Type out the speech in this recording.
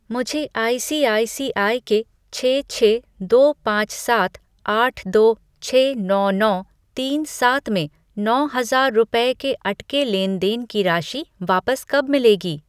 मुझे आईसीआईसीआई के छः छः दो पाँच सात आठ दो छः नौ नौ तीन सात में नौ हजार रुपये के अटके लेन देन की राशि वापस कब मिलेगी?